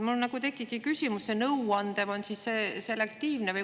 Mul tekibki küsimus, kas see nõuanne on selektiivne.